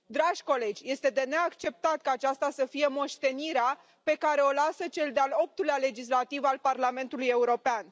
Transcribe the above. Dragi colegi, este de neacceptat ca aceasta să fie moștenirea pe care o lasă cel de al optulea legislativ al Parlamentului European.